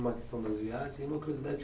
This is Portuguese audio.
Uma questão das viagens. Uma curiosidade